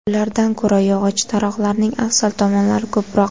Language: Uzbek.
Ulardan ko‘ra yog‘och taroqlarning afzal tomonlari ko‘proq.